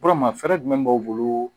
Kɔrɔma fɛɛrɛ jumɛn b'aw bolo